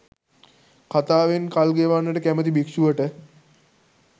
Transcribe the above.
කතාවෙන් කල්ගෙවන්නට කැමති භික්ෂුවට